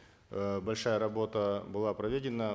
э большая работа была проведена